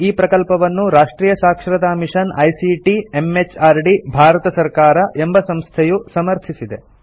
ಈ ಪ್ರಕಲ್ಪವನ್ನು ರಾಷ್ಟ್ರಿಯ ಸಾಕ್ಷರತಾ ಮಿಷನ್ ಐಸಿಟಿ ಎಂಎಚಆರ್ಡಿ ಭಾರತ ಸರ್ಕಾರ ಎಂಬ ಸಂಸ್ಥೆಯು ಸಮರ್ಥಿಸಿದೆ